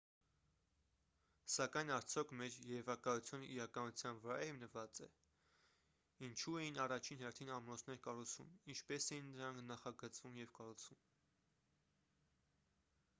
սակայն արդյոք մեր երևակայությունը իրականության վրա է հիմնված է ինչու էին առաջին հերթին ամրոցներ կառուցվում ինչպես էին դրանք նախագծվում և կառուցվում